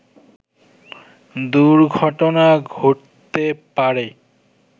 দুর্ঘটনা ঘটতে পারে